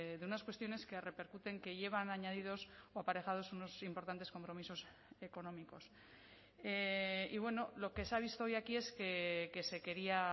de unas cuestiones que repercuten que llevan añadidos o aparejados unos importantes compromisos económicos y bueno lo que se ha visto hoy aquí es que se quería